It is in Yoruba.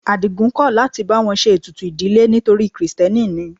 Adigun kò láti bá wọn ṣe ètùtù ìdílé torí krìstẹ́nì ni.